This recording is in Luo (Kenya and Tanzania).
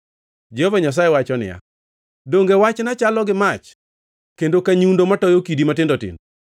Jehova Nyasaye wacho niya, “Donge wachna chalo gi mach kendo ka nyundo matoyo kidi matindo tindo?”